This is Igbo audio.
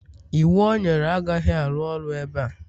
iwu o nyere agaghị arụ ọrụ ebe a